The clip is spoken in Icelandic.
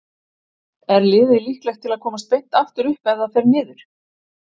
Er liðið líklegt til að komast beint aftur upp ef það fer niður?